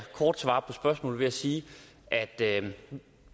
kort svare på spørgsmålet ved at sige at